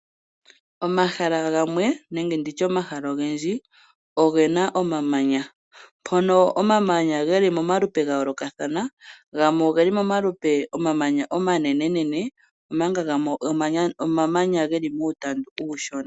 Omahala gamwe nenge nditye omahala ogendji ogena omamanya, mpono omamanya geli momalupe gayoolokathana. Gamwe ogeli momalupe omamanya omanenene Omanga gamwe omamanya geli muutandu uushona.